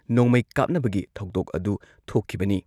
ꯅꯣꯡꯃꯩ ꯀꯥꯞꯅꯕꯒꯤ ꯊꯧꯗꯣꯛ ꯑꯗꯨ ꯊꯣꯛꯈꯤꯕꯅꯤ꯫